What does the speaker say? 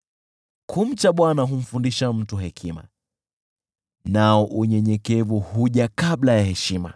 Kumcha Bwana humfundisha mtu hekima, nao unyenyekevu huja kabla ya heshima.